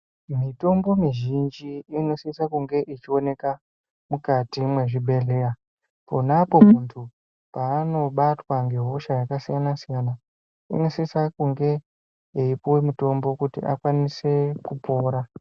Mitombo mizhinji inosise kunge ichioneka mukati mwezvibhedhleya ponapo muntupaanobatwa ngehosha yakasiyana siyana unosise kunge eipuwe mutombo kuti akwanise kupora.